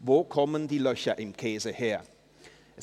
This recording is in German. «Wo kommen die Löcher im Käse her –?